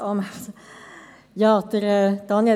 Kommissionssprecherin der FiKo-Minderheit.